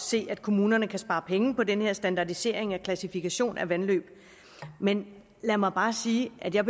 se at kommunerne kan spare penge på den her standardisering af klassifikation af vandløb men lad mig bare sige at jeg